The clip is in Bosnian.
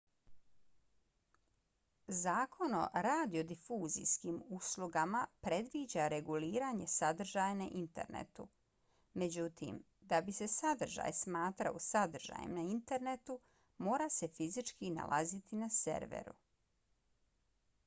zakon o radiodifuzijskim uslugama predviđa reguliranje sadržaja na internetu. međutim da bi se sadržaj smatrao sadržajem na internetu mora se fizički nalaziti na serveru